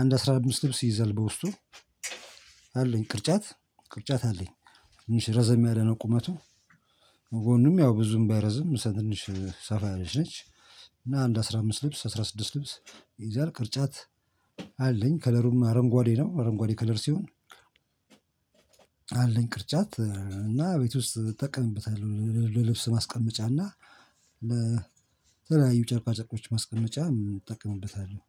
አንድ አስራ አምስት ልብስ ይይዛል በውስጡ። አለኝ ቅርጫት ቅርጫት አለኝ ትንሽ ረዘም ያለ ነው ቁመቱ። ጎኑም ያው ብዙም ባይረዝም ትንሽ ሰፋ ያለች ነች። እና አንድ አስራ አምስት ልብስ አስራ ስድስት ልብስ ይይዛል ቅርጫት። አለኝ ከለሩም አረንጓዴ ነው አረንጓዴ ከለር ሲሆን። አለኝ ቅርጫት እና ቤት ውስጥ እጠቀምበታለሁ ለልብስ ማስቀመጫ እና ለተለያዩ ጨርቃ ጨርቆች ማስቀመጫ እጠቀምበታለሁ